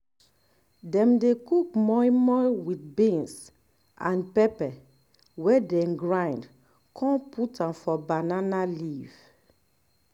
dem dey cook moi moi with beans and um pepper wey dem grind con put am for banana leaf